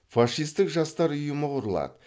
фашистік жастар ұйымы құрылады